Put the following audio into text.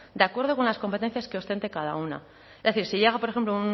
de acuerdo con las competencias que ostente cada una es decir si llega por ejemplo